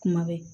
Kuma bɛ